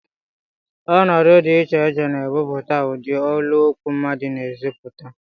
Ọnọdụ dị iche iche na-ebute ụdị olu okwu mmadụ na-ezipụta